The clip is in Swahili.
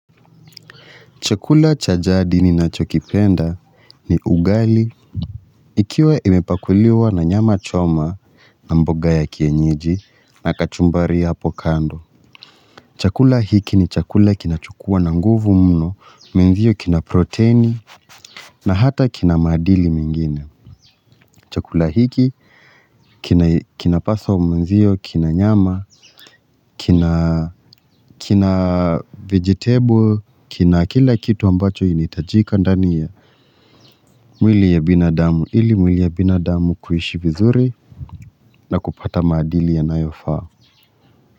Chakula cha jadi ninachokipenda ni ugali. Ikiwa imepakuliwa na nyama choma na mboga ya kienyeji na kachumbari hapo kando. Chakula hiki ni chakula kinachokua na nguvu mno, menzio kina proteini na hata kina madini mengine. Chakula hiki kinapaswa mwenzio, kina nyama, kina vegetable, kina kila kitu ambacho initajika ndani ya. Mwili ya binadamu ili mwili ya binadamu kuishi vizuri na kupata maadili ya nayofaa.